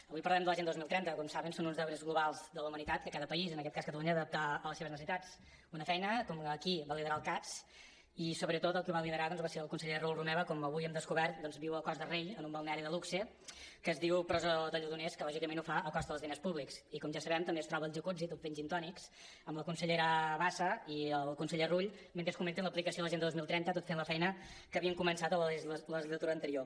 avui parlarem de l’agenda dos mil trenta que com saben són uns deures globals de la humanitat que cada país en aquest cas catalunya ha d’adaptar a les seves necessitats una feina que aquí va liderar el cads i sobretot el que la va liderar va ser el conseller raül romeva que com avui hem descobert viu a cos de rei en un balneari de luxe que es diu presó de lledoners que lògicament ho fa a costa dels diners públics i com ja sabem també es troba al jacuzzi tot fent gintònics amb la consellera bassa i el conseller rull mentre comenten l’aplicació de l’agenda dos mil trenta tot fent la feina que havien començat a la legislatura anterior